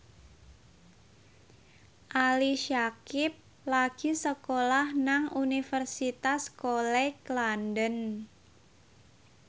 Ali Syakieb lagi sekolah nang Universitas College London